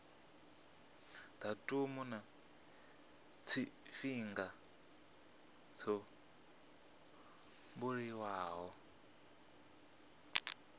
datumu na tshifhinga tsho buliwaho